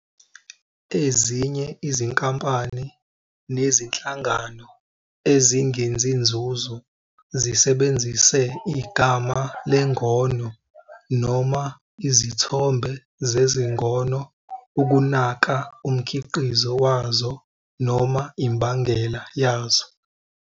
Ezinye izinkampani nezinhlangano ezingenzi nzuzo zisebenzise igama "lengono" noma izithombe zezingono ukunaka umkhiqizo wazo noma imbangela yazo.